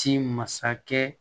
Ti masakɛ